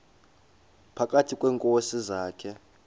phakathi kweenkosi zakhe